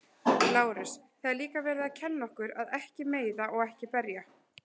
Lárus: Það er líka verið að kenna okkur að ekki að meiða og ekki berja.